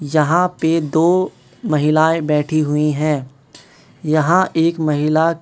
जहां पे दो महिलाएं बैठी हुईं हैं यहां एक महिला--